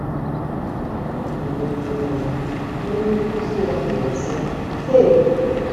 N’ala ala nke edemede ahụ, onye nkụzi ya dere, sị: “ Chei!